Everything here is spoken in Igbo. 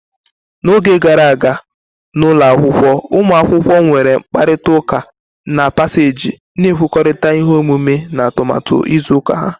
N'oge gara aga, n'ụlọ akwụkwọ, ụmụ akwụkwọ nwere mkparịta ụka na paseeji, na-ekwurịta ihe omume na atụmatụ izu ụka.